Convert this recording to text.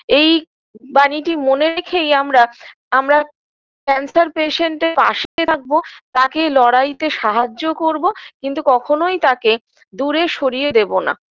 এই বানীটি মনে রেখেই আমরা আমরা cancer patient -এর পাশে থাকবো তাকে লড়াইতে সাহায্য করবো কিন্তু কখনোই তাকে দূরে সরিয়ে দেবোনা